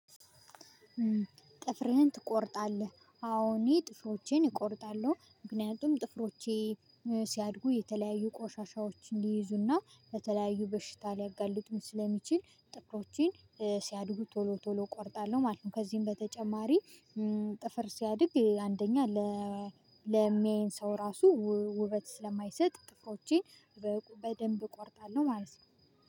ጥፍርህን ትቆርጣለህ? አዎ እኔ ጥፍሮቼን እቆርጣለሁ ምክንያቱም ጥፍሮቼ ሲያድጉ የተለያዩ ቆሻሻዎችን ሊይዙና በተለያዩ በሽታ ሊያጋልጡን ስለሚችል ጥፍሮችን ሲያድጉ ቶሎ ቶሎ እቆርጣለሁ ማለት ነው። ከዚህም በተጨማሪ ጥፍር ሲያድግ አንደኛ ለሚያየን ሰው ራሱ ውበት ስለማይሰጥ ጥፍሮቼን በደንብ እቆርጣለሁ። ማለት ነው